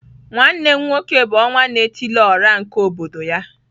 Nwanne m nwoke bu onwa-na-etili-ora nke obodo ya.